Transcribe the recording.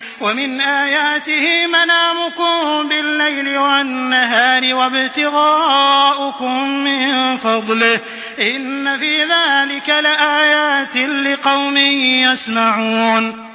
وَمِنْ آيَاتِهِ مَنَامُكُم بِاللَّيْلِ وَالنَّهَارِ وَابْتِغَاؤُكُم مِّن فَضْلِهِ ۚ إِنَّ فِي ذَٰلِكَ لَآيَاتٍ لِّقَوْمٍ يَسْمَعُونَ